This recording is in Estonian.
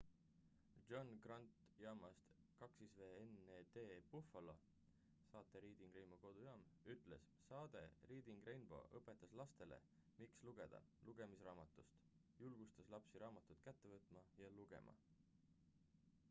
"john grant jaamast wned buffalo saate reading rainbow" kodujaam ütles: saade reading rainbow" õpetas lastele miks lugeda ... lugemisarmastust — [saade] julgustas lapsi raamatut kätte võtma ja lugema.""